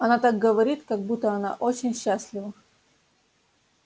она так говорит как будто она очень счастлива